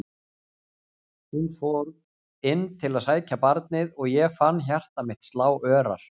Hún fór inn til að sækja barnið og ég fann hjarta mitt slá örar.